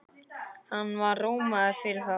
Hann var rómaður fyrir það.